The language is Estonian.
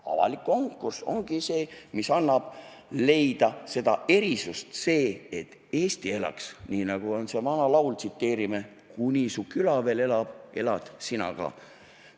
Avalik konkurss ongi see, mis annab võimaluse leida erisusi, selleks et Eesti elaks, nii nagu on selles vanas laulus: "Kuni su küla veel elab, elad sina ka!